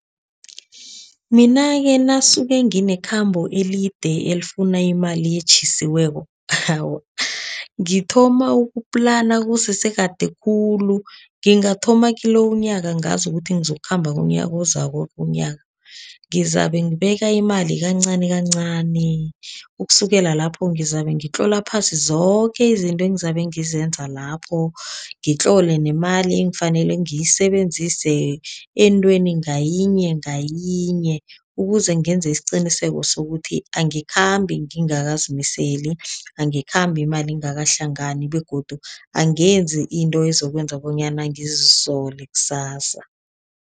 Mina-ke nasuke nginekhambo elide elifuna imali etjhisiweko, ngithoma uku-plan kusese kade khulu. Ngingathoma kilo umnyaka ngazi ukuthi ngizokukhamba ngomnyaka ozako ngizabe ngibeka imali kancani kancani. Ukusukela lapho ngizabe ngitlola phasi zoke izinto engizabe ngizenza lapho, ngitlole nemali engifanele ngiyisebenzise entweni ngayinye ngayinye. Ukuze ngenze isiqiniseko sokuthi angikhambi ngingakazimiseli, angikhambi imali ingakahlangani begodu angenzi into ezokwenza bonyana ngizisole kusasa.